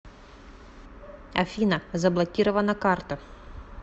афина заблокирована карта